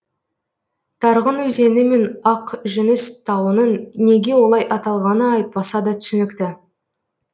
тарғын өзені мен ақ жүніс тауының неге олай аталғаны айтпаса да түсінікті